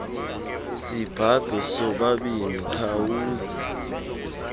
sibhabhe sobabini khawuze